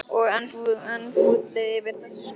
Og enn fúlli yfir þessu skoti Júlíu.